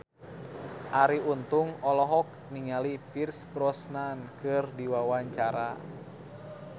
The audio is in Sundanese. Arie Untung olohok ningali Pierce Brosnan keur diwawancara